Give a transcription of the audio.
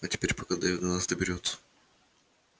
а теперь пока дейв до нас доберётся